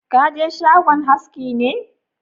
Ka je shagon haski ne?